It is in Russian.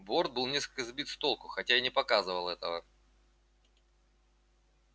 борт был несколько сбит с толку хотя и не показывал этого